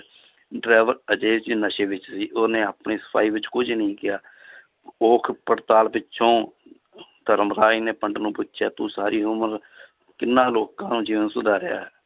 Driver ਨਸ਼ੇ ਵਿੱਚ ਸੀ ਉਹਨੇ ਆਪਣੀ ਸਫ਼ਾਈ ਵਿੱਚ ਕੁੱਝ ਨੀ ਕਿਹਾ ਘੋਖ ਪੜਤਾਲ ਪਿੱਛੋਂ ਧਰਮਰਾਜ ਨੇ ਪੰਡਿਤ ਨੂੰ ਪੁੱਛਿਆ ਤੂੰ ਸਾਰੀ ਉਮਰ ਕਿੰਨਾਂ ਲੋਕਾਂ ਦਾ ਜੀਵਨ ਸੁਧਾਰਿਆ ਹੈ